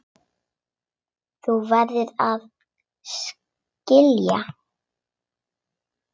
Þú verður að skilja.